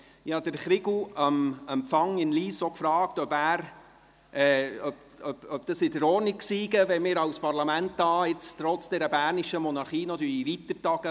Ich fragte Chrigu am Empfang in Lyss, ob es in Ordnung sei, wenn wir trotz dieser bernischen Monarchie als Parlament weitertagen.